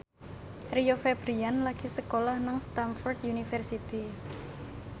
Rio Febrian lagi sekolah nang Stamford University